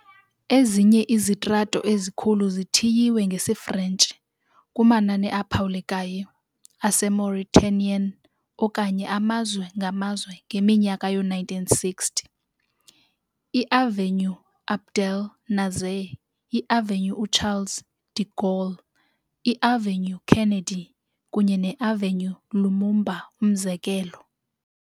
Ezinye izitrato ezikhulu zithiywe, ngesiFrentshi, kumanani aphawulekayo aseMauritanian okanye amazwe ngamazwe ngeminyaka yoo-1960- iAvenue Abdel Nasser, iAvenue uCharles de Gaulle, iAvenue Kennedy, kunye neAvenue Lumumba, umzekelo.